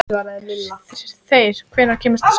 Þeyr, hvenær kemur sexan?